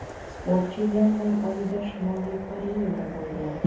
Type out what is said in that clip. Sportchi yanvar oyida Shimoliy Koreyada bo‘lgan.